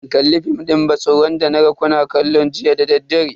Ban kalli fim din ban tsoron da naga kuna kallo jiya dadaddare.